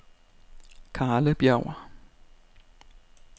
Karlebjerg